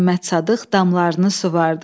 Məmmədsadıq damlarını suvardı.